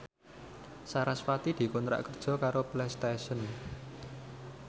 sarasvati dikontrak kerja karo Playstation